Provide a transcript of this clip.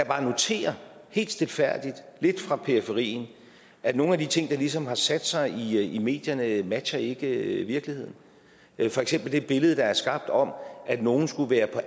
bare notere helt stilfærdigt lidt fra periferien at nogle af de ting der ligesom har sat sig i i medierne ikke matcher virkeligheden virkeligheden for eksempel det billede der er skabt om at nogen skulle være